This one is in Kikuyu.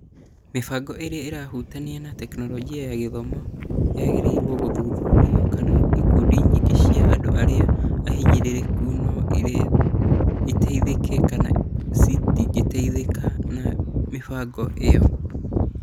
Mĩbango ĩrĩa ĩrahutania na Tekinoronjĩ ya Gĩthomo yagĩrĩirwo gũthuthuria kana ikundi nyingĩ cia andũ arĩa ahinyĩrĩrĩku no ĩteithĩke kama citingĩteithika na mĩbango ĩyo.